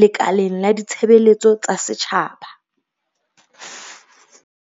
lekaleng la ditshebeletso tsa setjhaba.